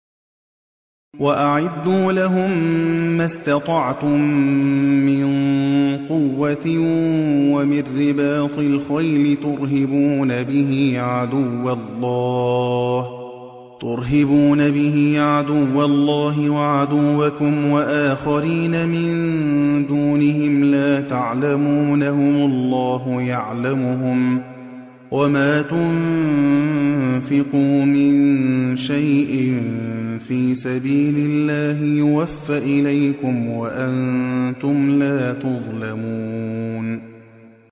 وَأَعِدُّوا لَهُم مَّا اسْتَطَعْتُم مِّن قُوَّةٍ وَمِن رِّبَاطِ الْخَيْلِ تُرْهِبُونَ بِهِ عَدُوَّ اللَّهِ وَعَدُوَّكُمْ وَآخَرِينَ مِن دُونِهِمْ لَا تَعْلَمُونَهُمُ اللَّهُ يَعْلَمُهُمْ ۚ وَمَا تُنفِقُوا مِن شَيْءٍ فِي سَبِيلِ اللَّهِ يُوَفَّ إِلَيْكُمْ وَأَنتُمْ لَا تُظْلَمُونَ